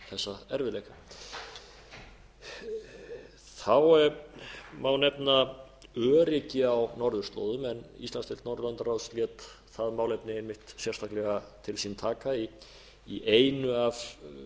gegnum þessa erfiðleika þá má nefna öryggi á norðurslóðum en íslandsdeild norðurlandaráðs lét það málefni einmitt sérstaklega til sín taka í einu af þeim